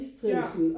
Ja